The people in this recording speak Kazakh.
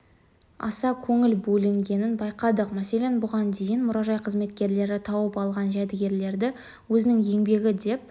аса көңіл бөлінгенін байқадық мәселен бұған дейін мұражай қызметкерлері тауып алған жәдігерлерді өзінің еңбегі деп